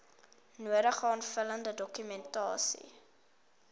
nodige aanvullende dokumentasie